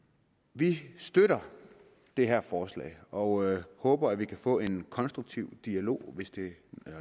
vi støtter det her forslag og håber at vi kan få en konstruktiv dialog